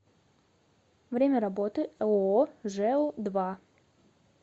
время работы ооо жэу два